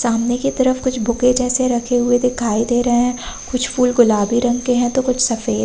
सामने की तरफ कुछ बुके जैसे रखे हुए दिखाई दे रहे हैं। कुछ फूल गुलाबी रंग हैं तो कुछ सफेद --